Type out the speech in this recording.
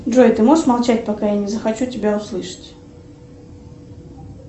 джой ты можешь молчать пока я не захочу тебя услышать